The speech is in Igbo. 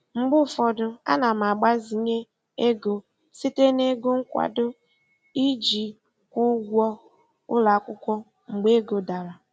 Mgbe ụfọdụ ana m agbazinye ego site na ego nkwado iji kwụọ ụgwọ ụlọ akwụkwọ mgbe ego dara.